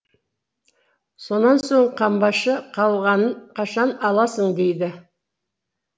сонан соң қамбашы қалғанын қашан аласың дейді